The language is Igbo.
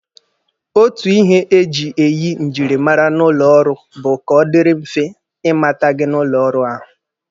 Otu ihe eji eyi njirimara n'ụlọ ọrụ bụ ka ọ dịrị mfe ịmata gị n'ụlọ ọrụ ahụ.